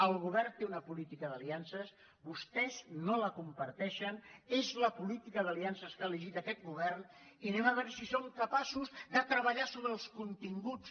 el govern té una política d’aliances vostès no la comparteixen és la política d’aliances que ha elegit aquest govern i a veure si som capaços de treballar sobre els continguts